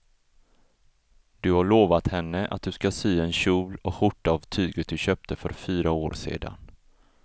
Du har lovat henne att du ska sy en kjol och skjorta av tyget du köpte för fyra år sedan.